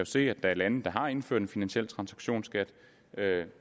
se at der er lande der har indført en finansiel transaktionsskat